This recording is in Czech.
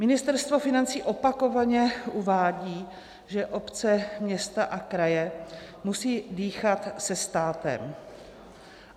Ministerstvo financí opakovaně uvádí, že obce, města a kraje musí dýchat se státem.